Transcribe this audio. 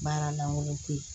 Baara lankolon ko ye